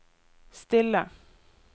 stille